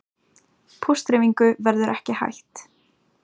Póstdreifingu verður ekki hætt